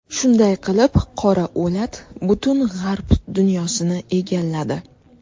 Shunday qilib, qora o‘lat butun g‘arb dunyosini egalladi.